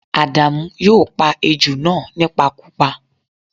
À̀dàmú yóò pa ejò náà nípakúpa